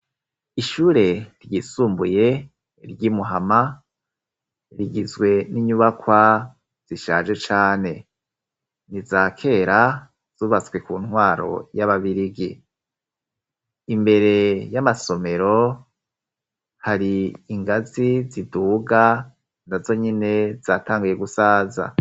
Ishure ryisumbuye ry'i Muhama, rigizwe n'inyubakwa zishaje cane. Ni izakera, zubatswe ku ntwaro y'ababirigi. Imbere y'amasomero, hari ingazi ziduga na zonyene zatanguye gusaza.